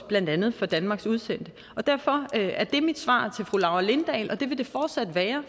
blandt andet for danmarks udsendte og derfor er det mit svar til fru laura lindahl og det vil det fortsat være